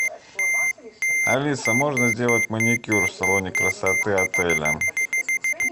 алиса можно сделать маникюр в салоне красоты отеля